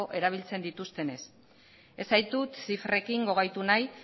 erabiltzen dituztenez ez zaituz zifrekin gogaitu nahi